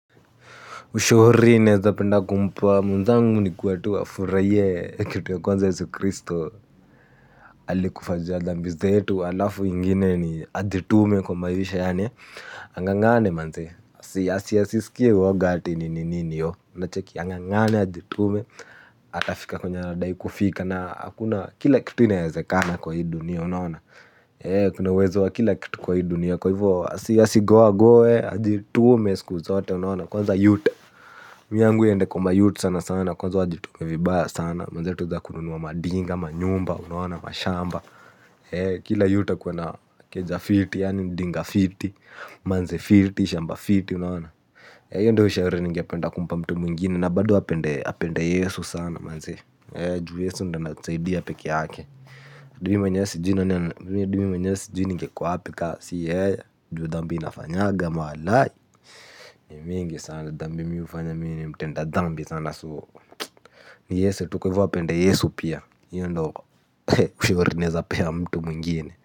Ushauri naeza penda kumpa mwenzangu ni kuwa tu afurahie kitu ya kwanza Yesu Kristo. Alikufa juu ya dhambi zetu alafu ingine ni ajitume kwa maisha yaani ang'ang'ane manzee. Asisiskie uoga ati ni nini iyo unacheki ang'ang'ane ajitume. Atafika kwenye anadai kufika na hakuna kila kitu inaezekana kwa hii dunia unaona. Kuna uwezo wa kila kitu kwa hii dunia kwa hivo. Asigoa goe ajitume siku zote unaona kwanza youth Mi yangu iende kwa mayouth sana sana kwanza wajitume vibaya sana. Manze tuweze kunua madinga, manyumba, unaona, mashamba. Kila youth akuwe na keja fiti, yaani dinga fiti, manzi fiti, shamba fiti unaona io ndio ushauri ningependa kumpa mtu mwingine na bado apende yesu sana manze. Juu yesu ndio anatusaidia pekee yake hadi mimi mwenyewe sijui hadi mimi mwenyewe sijui ningekuwa wapi ka si yeye. Juu dhambi nafanyaga walai mingi sana dhambi mi hufanya mi ni mtenda dhambi sana so ni yesu tu kwaivo apende yesu pia io ndo ushauri naeza pea mtu mwingine.